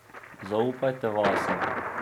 Zaupajte vase.